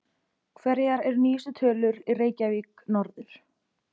Hverjar eru nýjustu tölur í Reykjavík norður?